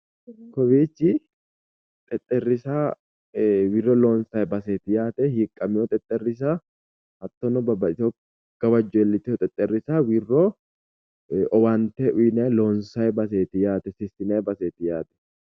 Kowiichi xexxerrisa wirro loonsanni baseeti hiiqqamewo xexxerrisa hattono babbaxxitewo gawajjo iillitinosi xexxerrisa wirro owaante uyiinayi baseeti sissinanni baseeti yaate